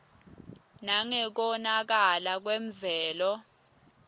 nangekonakala kwemvelo